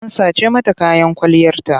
An sace mata kayan kwalliyarta.